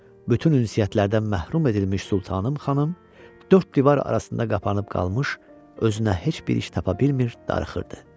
Bütün ünsiyyətlərdən məhrum edilmiş Sultanam xanım dörd divar arasında qapanıb qalmış, özünə heç bir iş tapa bilmir, darıxırdı.